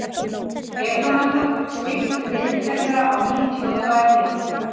Petrónella, stilltu niðurteljara á níutíu og tvær mínútur.